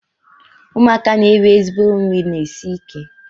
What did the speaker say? Ụmụaka na-eri ezigbo nri na-esi ike.